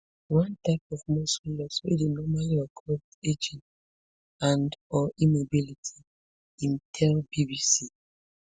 [one type of muscle loss wey dey normally occur wit ageing andor immobility] im tell bbc